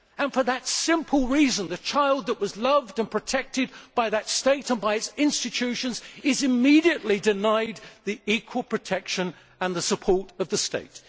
For that simple reason the child that was loved and protected by that state and by its institutions is immediately denied the equal protection and support of the state.